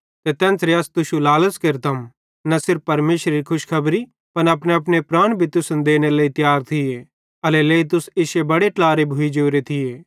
ते तेन्च़रे अस तुश्शू लालच़ केरते न सिर्फ परमेशरेरी खुशखबरी पन अपनेअपने प्राण भी तुसन देनेरे लेइ तियार थिये एल्हेरेलेइ तुस इश्शे बड़े ट्लारे भोइ जोरे थिये